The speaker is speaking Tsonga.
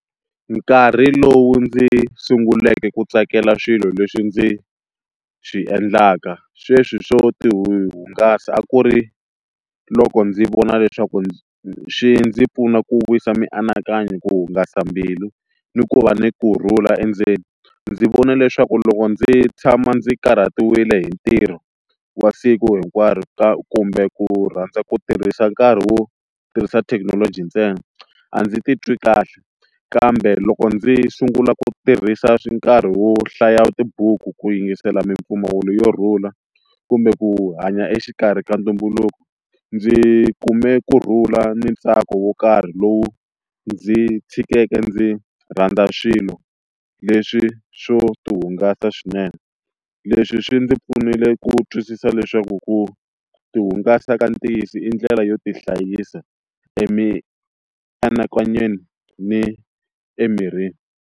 Nkarhi lowu ndzi sunguleke ku tsakela swilo leswi ndzi swi endlaka sweswi swo tihungasa a ku ri loko ndzi vona leswaku ndzi swi ndzi pfuna ku vuyisa mianakanyo ku hungasa mbilu ni ku va ni kurhula endzeni ndzi vona leswaku loko ndzi tshama ndzi karhatiwile hi ntirho wa siku hinkwaro ka kumbe ku rhandza ku tirhisa nkarhi wo tirhisa thekinoloji ntsena a ndzi titwi kahle kambe loko ndzi sungula ku tirhisa swi nkarhi wo hlaya tibuku ku yingisela mimpfumawulo yo rhula kumbe ku hanya exikarhi ka ntumbuluko ndzi kume kurhula ni ntsako wo karhi lowu ndzi tshikele ndzi rhandza swilo, leswi swo ti hungasa swinene leswi swi ndzi pfunile ku twisisa leswaku ku ti hungasa ka ntiyiso i ndlela yo tihlayisa emianakanyweni ni emirini.